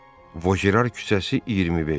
Voşerar küçəsi 25.